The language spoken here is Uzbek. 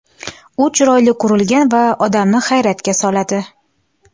U chiroyli qurilgan va odamni hayratga soladi.